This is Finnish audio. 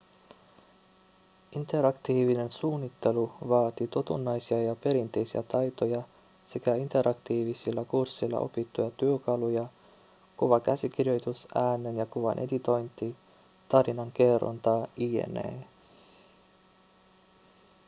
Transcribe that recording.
interaktiivinen suunnittelu vaatii totunnaisia ja perinteisiä taitoja sekä interaktiivisilla kursseilla opittuja työkaluja kuvakäsikirjoitus äänen ja kuvan editointi tarinankerronta jne.